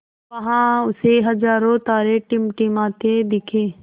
वहाँ उसे हज़ारों तारे टिमटिमाते दिखे